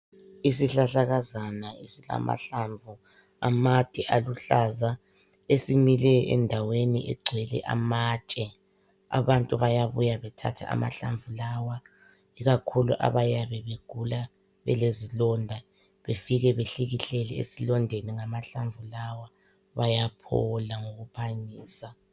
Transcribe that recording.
Isihlahlakazana esilamahlamvu amade aluhlaza esimileyo endaweni egcwele amatshe. Abantu bayabuya bethathe amahlamvu lawa ikakhulu abayabe begula belezilonda befike behlikihlele esilondeni ngamahlamvu lawa bayaphila ngokuphangisa.